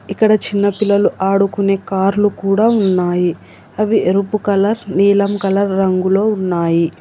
ఇక్కడ చిన్న పిల్లలు ఆడుకునే కార్లు కూడా ఉన్నాయి అవి ఎరుపు కలర్ నీలం కలర్ రంగులో ఉన్నాయి.